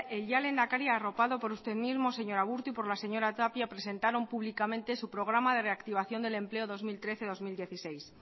el ya lehendakari arropado por usted mismo señor aburto y por la señora tapia presentaron públicamente su programa de reactivación del empleo dos mil trece dos mil dieciséis